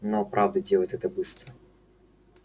но правда делает это быстро